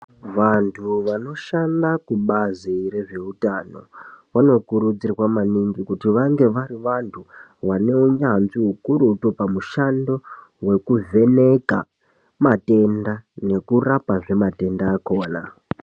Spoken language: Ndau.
Vanhu vanoshanda kubazi rezveutano, vanokurudzirwa maningi kuti vange vari vantu, vane unyanzvi ukurutu, pamushando wekuvheneka, nekurapazve matenda akhona.